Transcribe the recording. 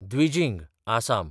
Dwijing (Assam)